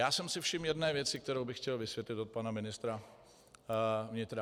Já jsem si všiml jedné věci, kterou bych chtěl vysvětlit od pana ministra vnitra.